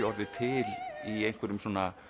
orðið til í einhverjum